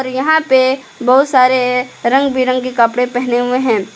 यहां पे बहुत सारे रंग बिरंगे कपड़े पहने हुए हैं।